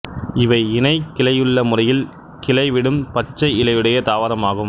இவை இணைக் கிளையுள்ள முறையில் கிளைவிடும் பச்சை இலையுடைய தாவரமாகும்